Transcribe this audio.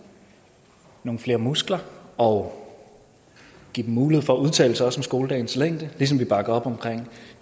nogle flere muskler og give dem mulighed for at udtale sig også om skoledagens længde ligesom vi også bakker op om